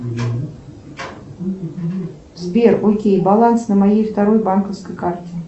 сбер окей баланс на моей второй банковской карте